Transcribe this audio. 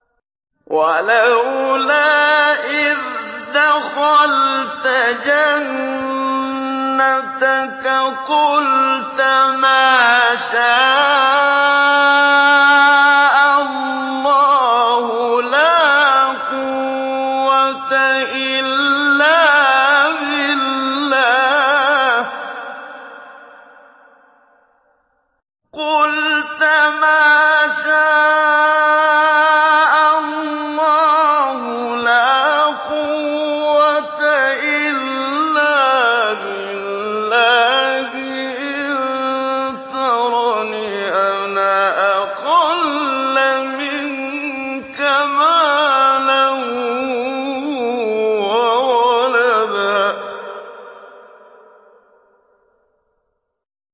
وَلَوْلَا إِذْ دَخَلْتَ جَنَّتَكَ قُلْتَ مَا شَاءَ اللَّهُ لَا قُوَّةَ إِلَّا بِاللَّهِ ۚ إِن تَرَنِ أَنَا أَقَلَّ مِنكَ مَالًا وَوَلَدًا